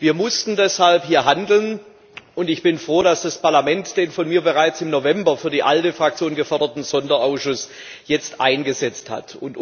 Wir mussten deshalb hier handeln, und ich bin froh, dass das Parlament jetzt den von mir bereits im November für die ALDE Fraktion geforderten Sonderausschuss eingesetzt hat.